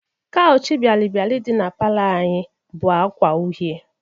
Kawch bialịbịalị dị na palọ anyị bụ agwa uhe.